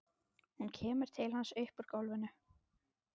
Hún kemur til hans upp úr gólfinu.